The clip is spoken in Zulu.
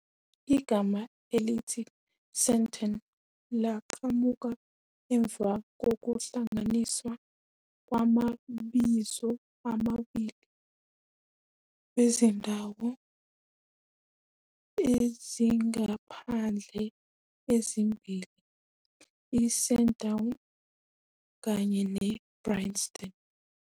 Igama elithi Sandton laqhamuka emva kokuhlanganiswa kwamabizo amabili wezindawo ezingamaphandle ezimbili i-Sandown kanye ne-Brynston.